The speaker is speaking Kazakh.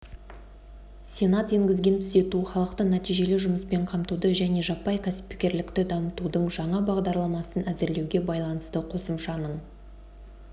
сенат енгізген түзету халықты нәтижелі жұмыспен қамтуды және жаппай кәсіпкерлікті дамытудың жаңа бағдарламасын әзірлеуге байланысты қосымшаның